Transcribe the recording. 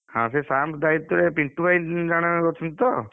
ହଁ ସେ Sam's hall ଦାୟିତ୍ଵରେ ପିଣ୍ଟୁଭାଇ ଜଣେ ଅଛନ୍ତି ତ?